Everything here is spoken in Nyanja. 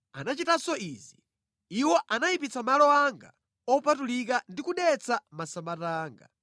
Anachitanso izi: Iwo anayipitsa malo anga opatulika ndi kudetsa masabata anga.